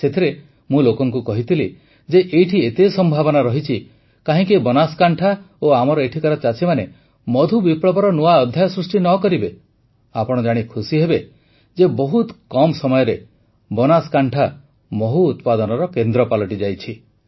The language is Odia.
ସେଥିରେ ମୁଁ ଲୋକଙ୍କୁ କହିଥିଲି ଯେ ଏଇଠି ଏତେ ସମ୍ଭାବନା ରହିଛି କାହିଁକି ବନାସକାଣ୍ଠା ଓ ଆମର ଏଠିକାର ଚାଷୀମାନେ ମଧୁ ବିପ୍ଳବର ନୂଆ ଅଧ୍ୟାୟ ସୃଷ୍ଟି ନ କରିବେ ଆପଣ ଜାଣି ଖୁସିହେବେ ଯେ ବହୁତ କମ୍ ସମୟରେ ବନାସକାଣ୍ଠା ମହୁ ଉତ୍ପାଦନର କେନ୍ଦ୍ର ପାଲଟିଯାଇଛି